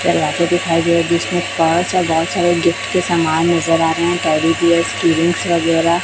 दिखाया गया है जिसमें कार्स और बहुत सारे गिफ्ट के समान नजर आ रहे हैं टेडी बीयरस केयरिंगस वगैरह।